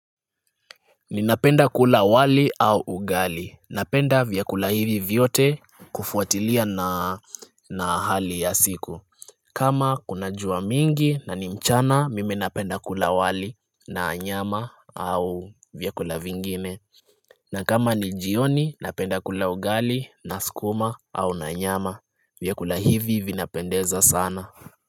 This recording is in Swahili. Ninapenda kula wali au ugali, napenda vyakula hivi vyote kufuatilia na na hali ya siku kama kunajua mingi na nimchana mimi napenda kula wali na anyama au vyakula vingine na kama ni jioni napenda kula ugali na sukuma au na nyama vyakula hivi vinapendeza sana.